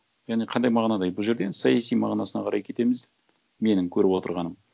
яғни қандай мағынада бұл жерден саяси мағынасына қарай кетеміз менің көріп отырғаным